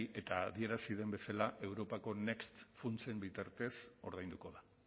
eta adierazi den bezala europako next funtsen bitartez ordainduko da